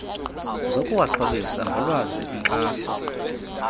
zokuwaxhobisa ngolwazi inkxaso